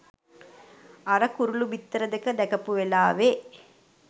අර කුරුළු බිත්තර දෙක දැකපු වෙලාවෙ